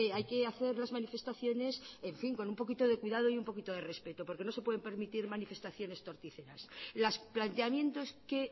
hay que hacer las manifestaciones en fin con un poquito de cuidado y un poquito de respeto porque no se puede permitir manifestaciones torticeras los planteamientos que